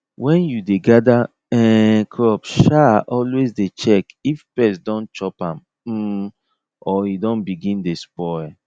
when you dey gather um crop um always dey check if pest don chop am um or e don begin dey spoil